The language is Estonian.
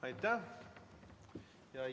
Aitäh!